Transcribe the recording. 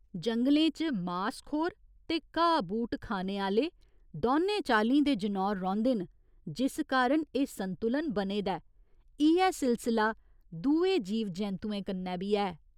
जंगलें च मासखोर ते घाऽ बूह्ट खाने आह्‌ले दौनें चाल्लीं दे जनौर रौंह्दे न जिस कारण एह् संतुलन बने दा ऐ, इ'यै सिलसला दुए जीव जैंतुएं कन्नै बी ऐ।